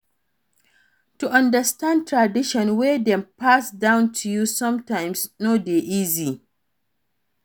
To understand traditions wey Dem pass down to you sometimes no de easy